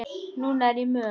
Núna er ég mött.